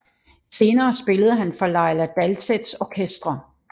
Senere spillede han for Laila Dalseths orkestre